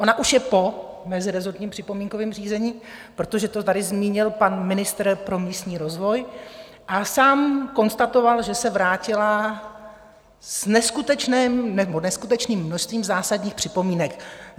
Ona už je po mezirezortním připomínkovém řízení, protože to tady zmínil pan ministr pro místní rozvoj a sám konstatoval, že se vrátila s neskutečným množstvím zásadních připomínek.